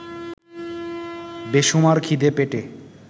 বেসুমার খিদে পেটে